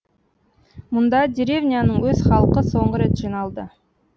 мұнда деревняның өз халқы соңғы рет жиналды